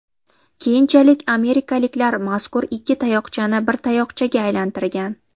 Keyinchalik amerikaliklar mazkur ikki tayoqchani bir tayoqchaga aylantirgan.